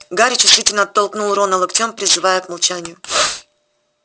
гарри чувствительно толкнул рона локтем призывая к молчанию